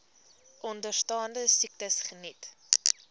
onderstaande siektes geniet